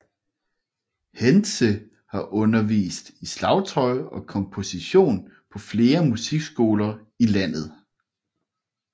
Hendze har undervist i slagtøj og komposition på flere musikskoler i landet